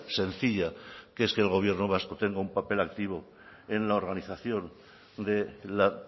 sencilla que es que el gobierno vasco tenga un papel activo en la organización de la